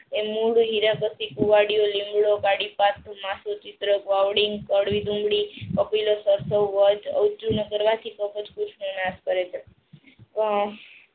એ મૂળ હીરા કૂવાડિયો લીમડો વાવડિંગ નાશ કરે છે પણ